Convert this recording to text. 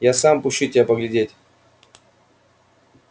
я сам пущу тебя поглядеть